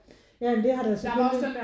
Ja men det har der jo selvfølgelig